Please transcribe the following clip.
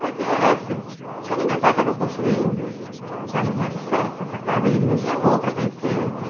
Porque, assim, quando meu pai estava construindo, que estava no alicerce, essa casa, ele nos levou para conhecer, né